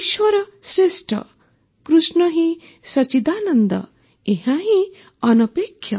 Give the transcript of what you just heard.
ଈଶ୍ୱର ଶ୍ରେଷ୍ଠ କୃଷ୍ଣ ହିଁ ସଚ୍ଚିଦାନନ୍ଦ ଏହାହିଁ ଅନପେକ୍ଷ